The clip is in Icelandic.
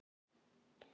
Hver veit, hver veit.